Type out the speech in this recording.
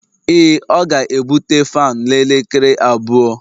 Ee, ọ ga-ebute fan n'elekere abụọ